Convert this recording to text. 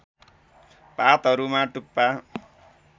पातहरूमा टुप्पा